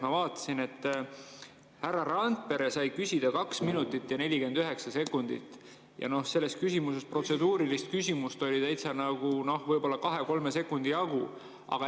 Ma vaatasin, et härra Randpere sai küsida 2 minutit ja 49 sekundit ja protseduurilist küsimust oli tal võib-olla kahe-kolme sekundi jagu.